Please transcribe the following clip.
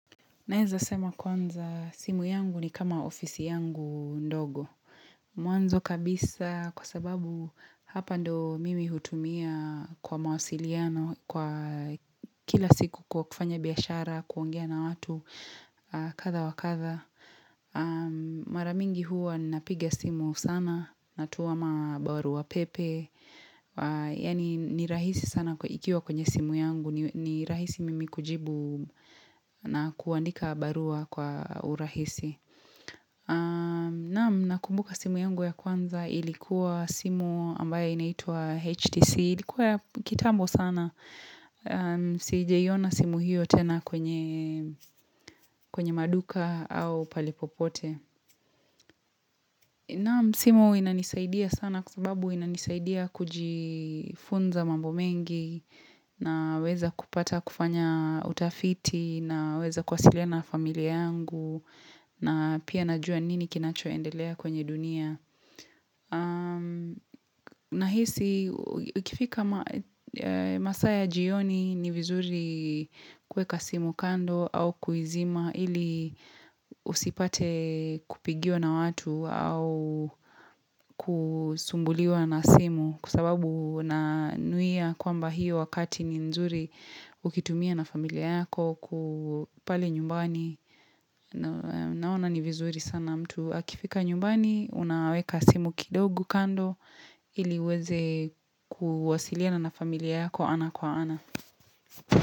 Naeza sema kwanza simu yangu ni kama ofisi yangu ndogo. Mwanzo kabisa kwa sababu hapa ndo mimi hutumia kwa mawasiliano kwa kila siku kwa kufanya biashara, kuongea na watu katha wakatha. Mara mingi huwa napiga simu sana, natuwama baruapepe. Yani ni rahisi sana ikiwa kwenye simu yangu. Ni rahisi mimi kujibu na kuandika barua kwa urahisi na kumbuka simu yangu ya kwanza ilikuwa simu ambaye inaitua HTC, ilikuwa ya kitambo sana Sijaiona simu hiyo tena kwenye maduka au pale popote Naam, simu inanisaidia sana kwa sababu inanisaidia kujifunza mambo mengi na weza kupata kufanya utafiti, naweza kuwasiliana na familia yangu na pia najua nini kinachoendelea kwenye dunia. Nahisi, ukifika masaa ya jioni ni vizuri kuweka simu kando au kuizima ili usipate kupigiwa na watu au kusumbuliwa na simu Kwasababu na nuia kwamba hiyo wakati ni nzuri ukitumia na familia yako ku pale nyumbani. Naona ni vizuri sana mtu akifika nyumbani, unaweka simu kidogo kando iliuweze kuwasiliana na familia yako ana kwa ana.